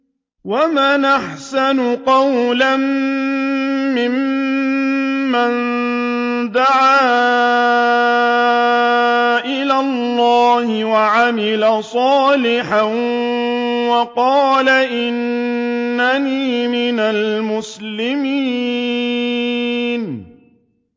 وَمَنْ أَحْسَنُ قَوْلًا مِّمَّن دَعَا إِلَى اللَّهِ وَعَمِلَ صَالِحًا وَقَالَ إِنَّنِي مِنَ الْمُسْلِمِينَ